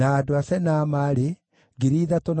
na Besai, na Meunimu, na Nefisimu,